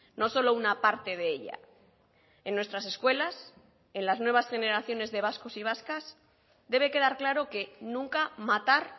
no solo una parte de ella en nuestras escuelas en las nuevas generaciones de vascos y vascas debe quedar claro que nunca matar